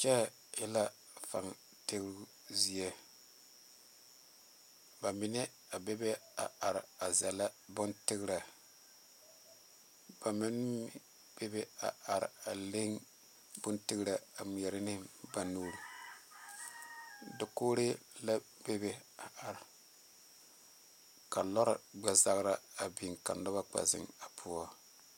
Kyɛ e la fan tigre zie bamine a bebe a are zagle bontigre ba meŋ bebe a are a leŋ bontigre a ŋmɛɛre ne ba nuure dakogire la bebe a are ka lɔre gbɛzagre a biŋ ka noba kpɛ zeŋ a poɔ.